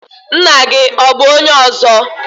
Ńnà gị ọ bụ ọnye ọzọ?